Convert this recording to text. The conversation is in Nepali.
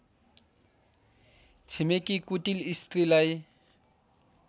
छिमेकी कुटिल स्त्रीलाई